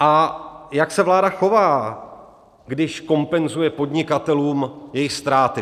A jak se vláda chová, když kompenzuje podnikatelům jejich ztráty?